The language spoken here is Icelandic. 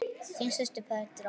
Þín systir, Petra.